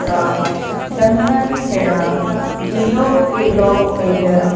का Dangal Kheda zero kilometre --